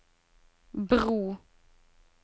bro